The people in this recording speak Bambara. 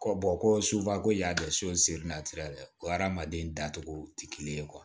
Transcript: Ko ko suba ko y'a dɔn so dɛ o hadamaden dacogo ti kelen ye